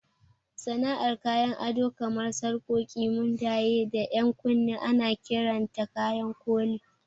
Sana'ar kayan ado kamar sarƙoƙi, mundaye, da 'yan kunne ana kiranta kayan koli.